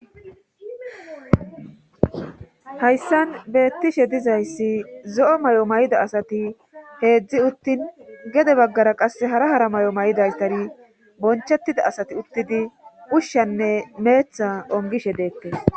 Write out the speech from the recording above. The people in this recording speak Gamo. hayssan beettishe dizayssi zo7o may7o may7ida asati heedzdzi uttin gede baggara qase hara hara may7o may7idastari bonchettida asati uttidi ushshanne meetha ongishe deettes